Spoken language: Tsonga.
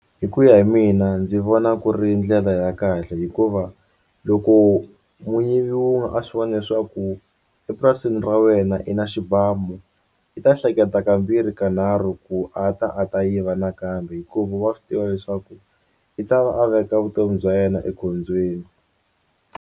Hi ku ya hi mina ndzi vona ku ri ndlela ya kahle hikuva loko a swi vona leswaku epurasini ra wena i na xibamu i ta hleketa kambirhi kanharhu ku a ta a ta yiva nakambe hikuva wa swi tiva leswaku i ta va a veka vutomi bya yena ekhombyeni.